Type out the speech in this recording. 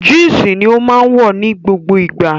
Jínsì ni ó máa wọ̀ ní gbogbo ìgbà